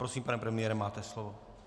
Prosím, pane premiére, máte slovo.